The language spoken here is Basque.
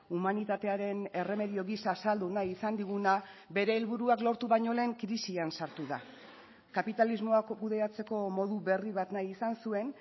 humanitatearen erremedio gisa saldu nahi izan diguna bere helburuak lortu baino lehen krisian sartu da kapitalismoak kudeatzeko modu berri bat nahi izan zuen